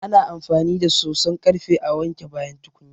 Ana amfani da soson ƙarfe a wanke bayan tukunya.